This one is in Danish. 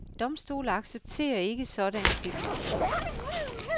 Domstole accepterer ikke sådanne beviser.